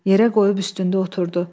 Yerə qoyub üstündə oturdu.